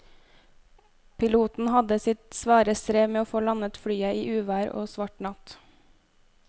Piloten hadde sitt svare strev med å få landet flyet i uvær og svart natt.